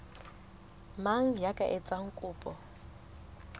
mang ya ka etsang kopo